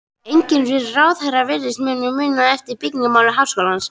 Enginn þessara ráðherra virðist hafa munað eftir byggingamáli háskólans.